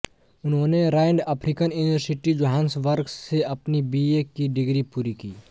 उन्होंने Rand African university Johannesburg से अपनी बीए की डिग्री पूरी की